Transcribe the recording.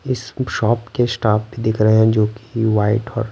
इस शॉप के स्टाफ भी दिख रहे हैं जोकि वाइट और--